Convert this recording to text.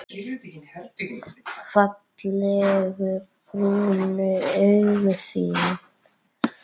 Fallegu brúnu augun þín.